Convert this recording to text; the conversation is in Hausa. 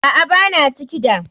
Aa, Bana ciki da.